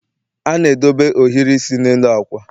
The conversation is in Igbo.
a na-edobe ohiri isi n'elu ákwà